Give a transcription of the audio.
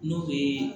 N'o bɛ